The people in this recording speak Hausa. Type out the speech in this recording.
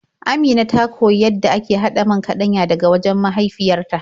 Amina ta koyi yadda ake haɗa man kaɗanya daga wajen mahaifyar ta.